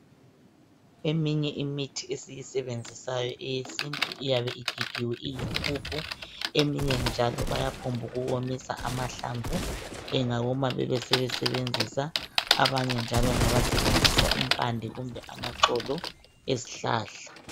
Eyinye imithi esiyisebenzisayo eyesintu iyabe igigiwe iyimpuphu. Eminye njalo bayaphongu womisa amahlamvu, engawoma bebe sebesebenzisa , abanye njalo ngabasebenzisa impande kumbe amaxolo ezihlahla.